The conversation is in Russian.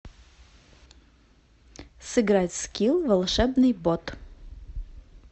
сыграть в скил волшебный бот